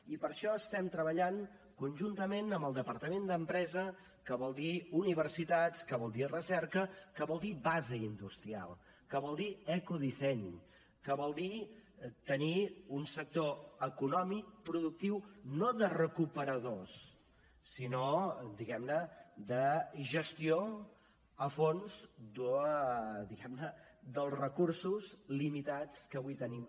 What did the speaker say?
i per això estem treballant conjuntament amb el departament d’empresa que vol dir universitats que vol dir recerca que vol dir base industrial que vol dir ecodisseny que vol dir tenir un sector econòmic productiu no de recuperadors sinó diguem ne de gestió a fons diguem ne dels recursos limitats que avui tenim